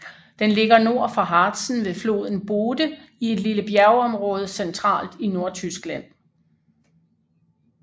Den ligger nord for Harzen ved floden Bode i et lille bjergområde centralt i Nordtyskland